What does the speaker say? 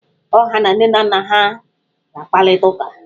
Ọ ha na nne na nna ha ga kparIta uka?